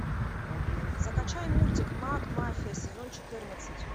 закачай мультик макмафия сезон четырнадцать